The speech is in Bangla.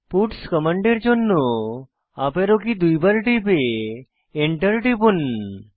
পাটস কমান্ডের জন্য আপ অ্যারো কী দুইবার টিপে enter টিপুন